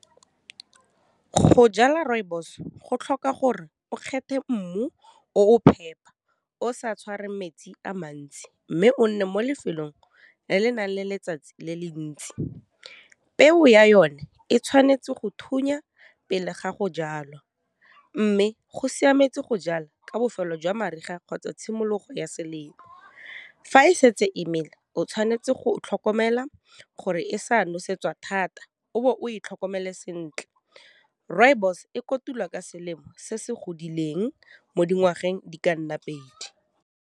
Go jala rooibos go tlhoka gore o kgethe mmu o phepa o sa tshwarweng metsi a mantsi mme o nne mo lefelong le le nang le letsatsi le le ntsi, peo ya yone e tshwanetse go thunya pele ga go jalwa mme go siametse go jala ka bofelo jwa mariga kgotsa tshimologo ya selemo, fa e setse e mela o tshwanetse go tlhokomela gore e sa nosetsa thata o bo o e tlhokomele sentle, rooibos e kotulwa ka selemo se se godileng mo dingwageng di ka nna pedi.